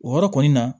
O yɔrɔ kɔni na